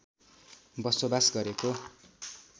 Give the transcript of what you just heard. बसोबास गरेको